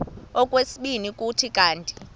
okwesibini kuthi kanti